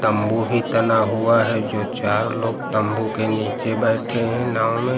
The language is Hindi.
वो भी तना हुआ है जो चार लोग तंबू के नीचे बैठे हैं नाव में।